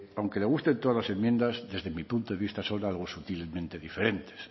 aunque le gusten todas las enmiendas desde mi punto de vista son algo sutilmente diferentes